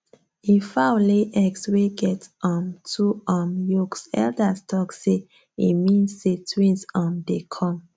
if fowl lay eggs wey get um two um yolks elders talk say e mean say twins um dey come